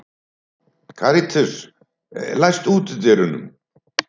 Katarínus, læstu útidyrunum.